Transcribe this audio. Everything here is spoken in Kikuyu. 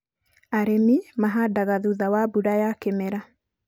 arĩmi mahandaga thutha wa mbura ya kĩmera